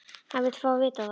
Hann vill fá að vita það.